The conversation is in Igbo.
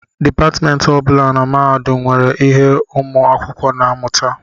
Depatmentị ọ bụla na mahadum nwere ihe ụmụ akwụkwọ na-amụta